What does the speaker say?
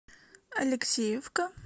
алексеевка